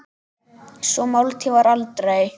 Sú máltíð varð aldrei.